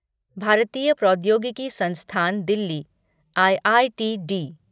भारतीय प्रौद्योगिकी संस्थान दिल्ली आईआईटीडी